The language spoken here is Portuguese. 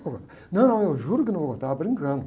Não, eu juro que não vou, eu estava brincando.